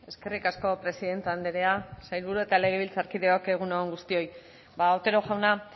eskerrik asko presidente andrea sailburu eta legebiltzarkideok egun on guztioi ba otero jauna